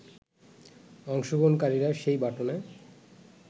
অংশগ্রহণকারীরা সেই বাটনে